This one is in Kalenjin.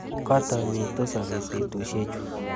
Kotomitu sobet betushiechu.